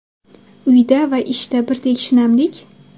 Uyda va ishda birdek shinamlik?